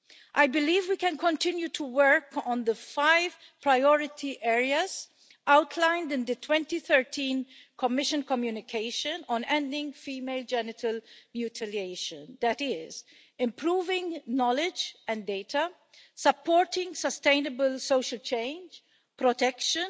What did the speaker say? I believe we can continue to work on the five priority areas outlined in the 2013 Commission communication on ending female genital mutilation, that is improving knowledge and data, supporting sustainable social change, protection,